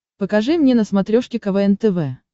покажи мне на смотрешке квн тв